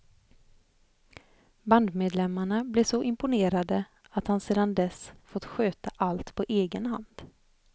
Bandmedlemarna blev så imponerade att han sedan dess fått sköta allt på egen hand.